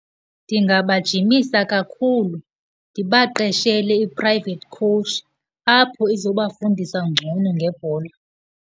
Ndingabajimisa kakhulu, ndibaqeshele i-private coach apho izobafundisa ngcono ngebhola.